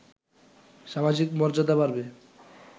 সামাজিক মর্যাদা বাড়বে